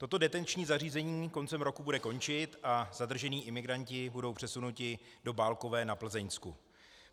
Toto detenční zařízení koncem roku bude končit a zadržení imigranti budou přesunuti do Bálkové na Plzeňsku.